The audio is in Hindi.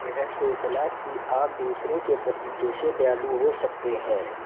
यह सोचना कि आप दूसरों के प्रति कैसे दयालु हो सकते हैं